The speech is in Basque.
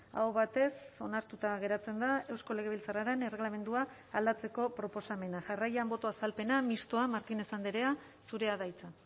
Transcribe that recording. aho batez onartuta geratzen da eusko legebiltzarraren erregelamendua aldatzeko proposamena jarraian boto azalpena mistoa martínez andrea zurea da hitza